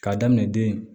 K'a daminɛ den